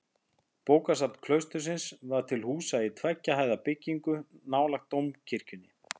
Bókasafn klaustursins var til húsa í tveggja hæða byggingu nálægt dómkirkjunni.